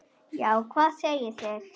Já, hvað segið þér?